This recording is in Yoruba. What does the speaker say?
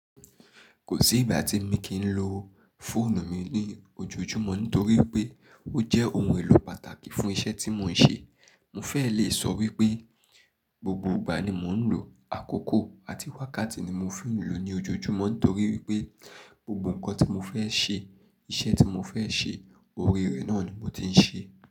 Kò sí ìgbà tí emi kìí lo fóònù mi ní ojoojúmọ́ nítorí pé ó jẹ́ ohun èlò pàtàkì fún iṣẹ́ tí mò ń ṣe. Mo fẹ́ẹ̀ lè sọ wípé gbogbo ìgbà ni mò ń lò ó. Àkókò àti wákàtí ni mo fi n lòó ní ojoojúmọ́ nítorí wípé gbogbo nǹkan tí mo fẹ́ ṣe, iṣẹ́ tí mo fẹ́ ṣe, orí rẹ̀ náà ni mo ti ń ṣe.